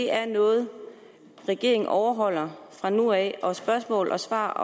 er noget regeringen overholder fra nu af og at spørgsmål og svar